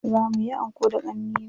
Za muyi anko da ƙannena.